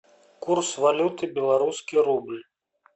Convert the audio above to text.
курс валюты белорусский рубль